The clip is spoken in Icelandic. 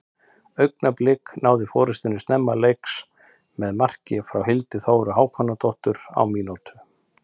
Augnablik náðu forystunni snemma leiks með marki frá Hildi Þóru Hákonardóttur á mínútu.